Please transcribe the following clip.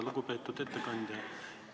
Lugupeetud ettekandja!